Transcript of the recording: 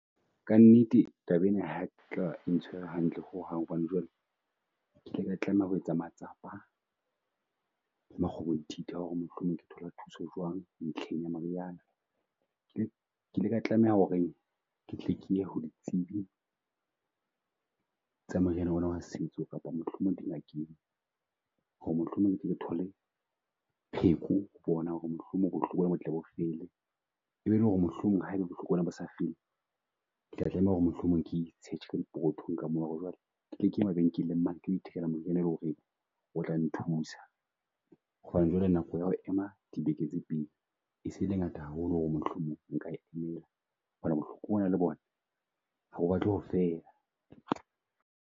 Ka nnete taba ena ha ke tla o ntshwere hantle ho hang, hobane jwale ke ile ka tlameha ho etsa matsapa makgobonthitha wa ho re mohlomong ke thola thuso jwang ntlheng ya meriana. Ke ile ka tlameha ho re ke tle ke ditsibi tsa moriana ona wa setso kapa mohlomong di ngakeng ho re mohlomong re thole pheko bona ho re mohlomong bo botle bo fela. E be e le ho re mohlomong ha e be bo sa fele, ke tla tlameha ho re mohlomong ke e search-e dipokothong ka ho re jwale ke tle ke ye mabenkeleng mane ke ithekela moriana e leng ho re o tla nthusa. Hobane jwale nako ya ho ema dibeke tse e se le ngata haholo ho re mohlomong nka emela bohloko bona le bo na, ha bo batle ho fela.